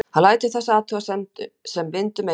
Hann lætur þessa athugasemd sem vind um eyru þjóta.